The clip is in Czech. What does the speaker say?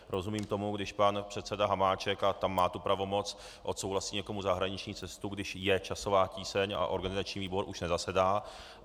Rozumím tomu, když pan předseda Hamáček, a tam má tu pravomoc, odsouhlasí někomu zahraniční cestu, když je časová tíseň a organizační výbor už nezasedá.